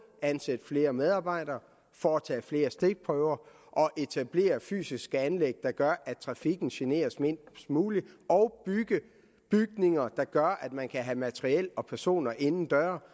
ansætte flere medarbejdere foretage flere stikprøver etablere fysiske anlæg der gør at trafikken generes mindst muligt og bygge bygninger der gør at man kan have materiel og personer inden døre